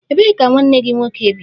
Ebee ka nwanne gị nwoke bi?